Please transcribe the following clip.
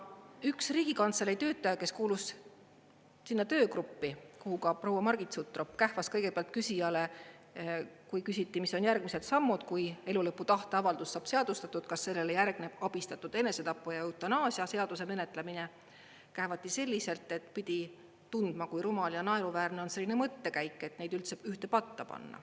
Üks Riigikantselei töötaja, kes kuulus sinna töögruppi, kuhu ka proua Margit Sutrop, kähvas kõigepealt küsijale, kui küsiti, mis on järgmised sammud, kui elu lõpu tahteavaldus saab seadustatud, kas sellele järgneb abistatud enesetapu ja eutanaasia seaduse menetlemine, kähvati selliselt, et pidi tundma, kui rumal ja naeruväärne on selline mõttekäik, et neid üldse ühte patta panna.